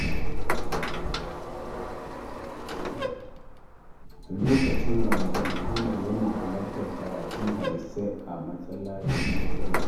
A lokacin Ramadan, Ahmad yana halartar karatun hadisai a masallacin Jibril.